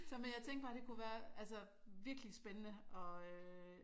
Så men jeg tænkte bare det kunne være altså virkelig spændende at øh